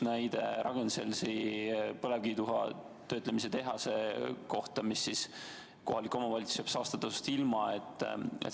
On toodud üks näide Ragn-Sellsi põlevkivituha töötlemise tehase kohta, mille tõttu kohalik omavalitsus jääb saastetasust ilma.